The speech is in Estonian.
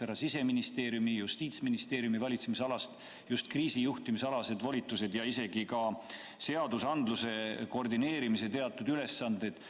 Siseministeeriumi ja Justiitsministeeriumi valitsemisalast võetakse ära just kriisi juhtimise volitused ja isegi seadusandluse koordineerimise teatud ülesanded.